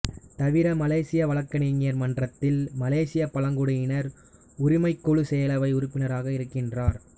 தவிர மலேசிய வழக்கறிஞர் மன்றத்தில் மலேசியப் பழங்குடியினர் உரிமைக்குழு செயலவை உறுப்பினராகவும் இருக்கின்றார்